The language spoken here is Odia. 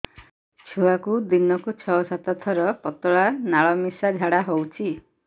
ଛୁଆକୁ ଦିନକୁ ଛଅ ସାତ ଥର ପତଳା ନାଳ ମିଶା ଝାଡ଼ା ହଉଚି